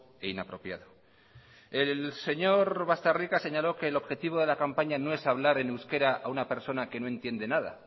e inapropiado el señor bastarrika señaló que el objetivo de la campaña no es hablar en euskera a una persona que no entiende nada